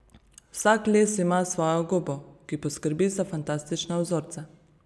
Vsak les ima svojo gobo, ki poskrbi za fantastične vzorce.